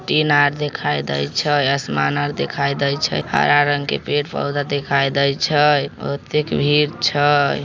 टीना आर दिखाई दे छै आसमान आर दिखाई दे छै हरा रंग के पेड़-पौधा दिखाई दे छै बहुते भीड़ छै।